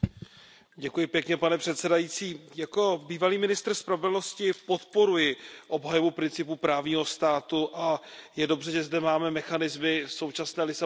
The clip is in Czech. Pane předsedající, jako bývalý ministr spravedlnosti podporuji obhajobu principu právního státu a je dobře, že zde máme mechanismy v současné Lisabonské smlouvě.